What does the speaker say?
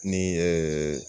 Ni